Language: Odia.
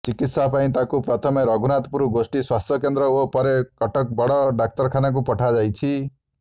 ଚିକିତ୍ସାପାଇଁ ତାଙ୍କୁ ପ୍ରଥମେ ରଘୁନାଥପୁର ଗୋଷ୍ଠୀ ସ୍ବାସ୍ଥ୍ୟକେନ୍ଦ୍ର ଓ ପରେ କଟକ ବଡ଼ ଡାକ୍ତରଖାନାକୁ ପଠାଯାଇଛି